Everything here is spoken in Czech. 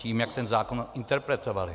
Tím, jak ten zákon interpretovali.